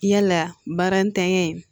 Yala baara ntanya in